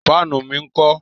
Fáànù mi ńkọ́?